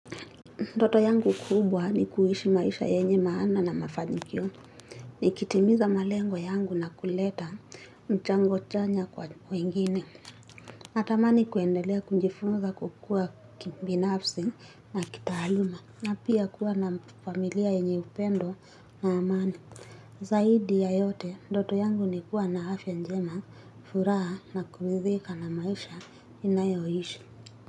Ndoto yangu kubwa ni kuishi maisha yenye maana na mafanikio. Nikitimiza malengo yangu na kuleta mchango chanya kwa wengine. Natamani kuendelea kujifunza kukua kibinafsi na kitaaluma na pia kuwa na familia yenye upendo na amani. Zaidi ya yote, ndoto yangu ni kuwa na afya njema, furaha na kuridhika na maisha ninayoishi.